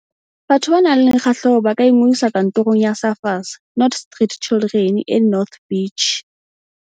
Batho ba nang le kgahleho ba ka ingodisa Kantorong ya Surfers Not Street Children e North Beach.